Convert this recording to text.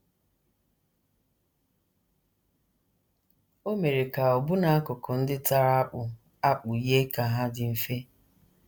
O mere ka ọbụna akụkụ ndị tara akpụ akpụ yie ka hà dị mfe. ”